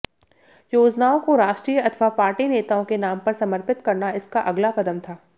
योजनाओं को राष्ट्रीय अथवा पार्टी नेताओं के नाम पर समर्पित करना इसका अगला कदम था